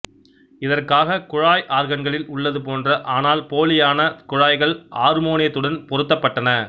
இதற்காக குழாய் ஆர்கன்களில் உள்ளது போன்ற ஆனால் போலியான குழாய்கள் ஆர்மோனியத்துடன் பொருத்தப்பட்டன